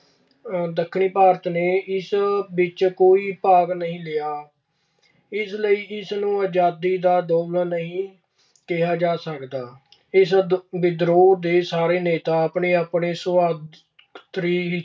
ਦੱਖਣੀ ਭਾਰਤ ਨੇ ਇਸ ਵਿੱਚ ਕੋਈ ਭਾਗ ਨਹੀ ਲਿਆ। ਇਸ ਲਈ ਇਸਨੂੰ ਆਜ਼ਦੀ ਦਾ ਦੌਰ ਨਹੀਂ ਕਿਹਾ ਜਾ ਸਕਦਾ। ਇਸ ਵਿਦਰੋਹ ਦੇ ਸਾਰੇ ਨੇਤਾ ਆਪਣੇ-ਆਪਣੇ ਸੁਆਰਥੀ